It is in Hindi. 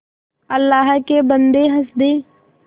अल्लाह के बन्दे हंस दे